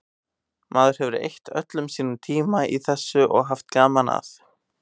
Maður hefur eytt öllum sínum tíma í þessu og haft gaman að.